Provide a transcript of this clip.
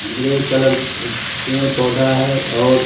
grey uh colour पे पौधा है और --